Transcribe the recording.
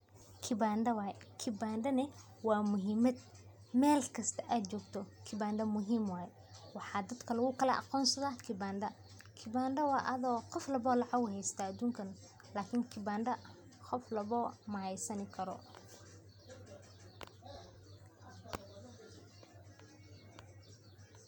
Kibanda waye, kibanda ne wa muhimad , mel kasta ad jogto kibanda muhim waye. Waxaa dadka lugukala aqonsada kibanda. Kibanda wa ado qof walbo lacag uu haystah adunkan, lakin kibanda qof walbawo mahaysan karo.